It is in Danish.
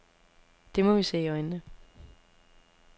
Det må vi se i øjnene.